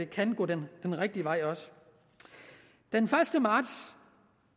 kan gå den rigtige vej den første marts